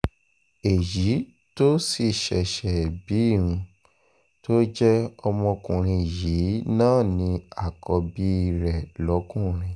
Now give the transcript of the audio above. èyí tó sì ṣẹ̀ṣẹ̀ bí um tó jẹ́ ọkùnrin yìí náà ni àkọ́bí um rẹ̀ lọ́kùnrin